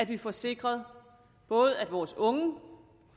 vi får sikret både at vores unge